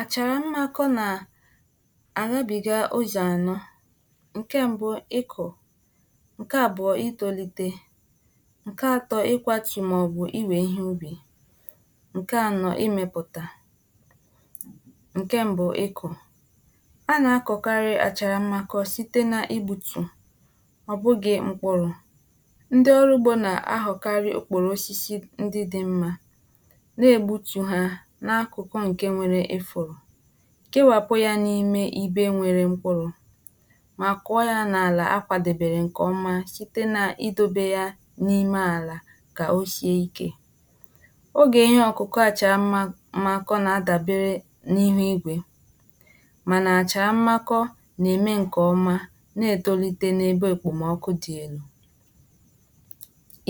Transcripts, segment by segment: "Àchàrà mmákọ́ nà àghabìga ụzọ̀ anọ̇: nke mbụ ịkọ̀, nke abụọ itolite, nke atọ ikwatù màọbụ iwè ihe ubì, nke anọ imepụta. Nke mbụ, Ịkọ̀: A nà-akọ̀karị àchàrà mmakọ site n’igbutù, ọ bụghị̇ mkpụrụ̇. Ndị ọrụ ugbo na-aghọkarị okporo osisi ndị dị mma, na-egbutù ha n’akụkụ ǹke nwere ịfụrụ̀, kewàpụ̀ ya n’ime ibe nwere mkpụrụ̀, mà kụọ ya n'àlà akwàdobèrè ǹkèọma site na-idȯbe ya n’ime àlà kà oshie ikė. Ógè ihe ọ̀kụ̀kọ̀ àchà ma m makọ na-adàbere n’ihù igwé, mànà àcharà mmakọ na-ème ǹkèọma na-etolite n’ebe èkpòmọkụ dị elu.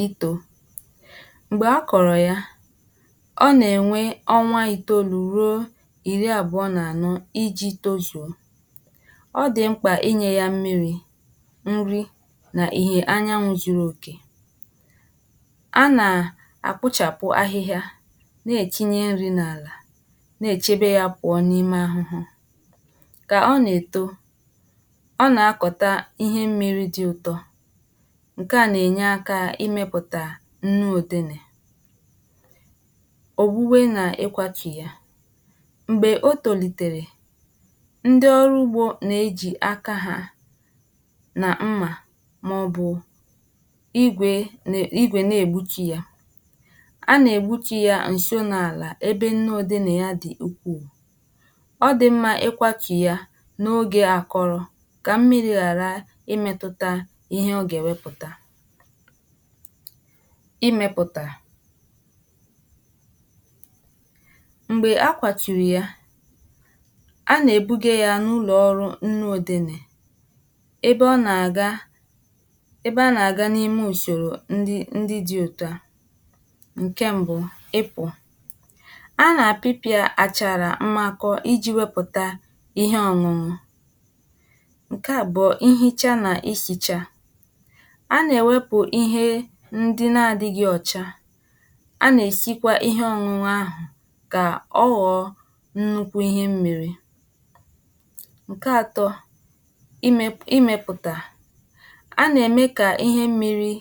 Ítò: Mgbe a kọrọ ya, ọ nà-ènwe ọnwa ìtoolu̇ ruo ìri àbụọ̇ na-ànọ̀ iji̇ tozuo. Ọ dị̀ mkpà inyė ya mmiri̇, nri nà ìhè anyanwụ̇ zuru òkè. A nà-àkpụchàpụ ahịhịa, na-ètinyė nri̇ n’àlà, na-èchebe ya pụ̀ọ n’ime ahụhụ. Kà ọ nà-èto ọ nà-akọ̀ta ihe mmiri̇ dị ụtọ ǹke à nà-ènye akȧ imėpụ̀tà nnu òdenè. Ogbume nà ịkwatu yȧ: Mgbè o tòlitèrè, ndị ọrụ ugbȯ nà-ejì aka hȧ nà mmà màọbụ̀ ígwé ígwè na-ègbutu yȧ. A nà-ègbutu yȧ ǹso n'àlà ebe nne odenei ya dị ukwuù. Ọ dị̀ mmȧ ịkwatu yȧ n’ogè àkọrọ̇ kà mmiri̇ ghàra ịmėtụ̇tȧ ihe ọ gà-èwepụ̀ta. ịmėpụ̀tà: Mgbè akwàtụ̀rụ̀ ya a nà-èbuga ya n’ụlọ̀ ọrụ nnu òdenè ebe ọ nà-àga ebe a nà-àga n’ime ùsòrò ndi ndi di òtù a: nke mbụ, Ị́pụ̇: a nà-apịpịa àchàrà mmakọ iji̇ wepụ̀ta ihe ọ̀ṅụṅụ. Nke abụọ, nhicha nà nsìcha: a nà-èwepụ ihe ndị na-adịghị ọ̀cha, a na-esikwa ihe ọṅụṅụ ahụ kà ọ ghọ̀ọ nnukwu ihe mmiri̇. Nke atọ, imėpụ imėpụ̀tà: A nà-ème kà ihe mmiri̇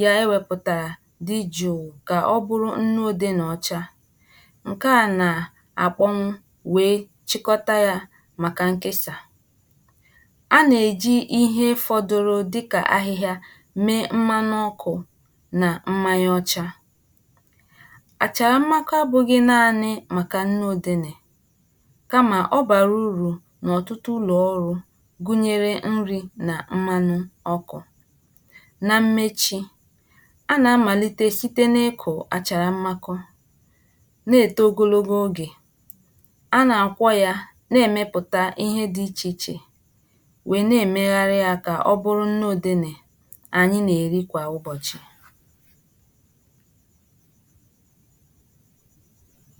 ya ewėpụ̀tàrà dị jụ̀ụ kà ọ bụrụ nnuodene ọcha. Nke a na-àkpọnwụ wee chịkọta ya màkà nkesà. A na-eji ihe fọdụ́rụ́ dịkà ahịhịȧ, mee mmanụ ọkụ̇ nà mmanya ọcha. Achàrà mmakọ abụ̇ghị̇ naanị màkà nnuodenè kamà ọ bàrà urù n'ọ̀tụtụ ụlọ̀ ọrụ gụnyere nri nà mmanụ ọkụ. Na mmechi, a nà-amàlite site n’ịkụ̀ àchàrà mmakọ, na-ète ogologo ogè, a nà-àkwọ ya na-èmepụ̀ta ihe dị ichè ichè wèe na-èmegharị ya ka ọ bụrụ nnuodenè anyị nà-èri kwà ụbọ̀chị̀."